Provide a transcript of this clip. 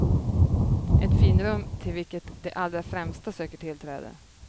Ett finrum till vilket de allra främsta söker tillträde.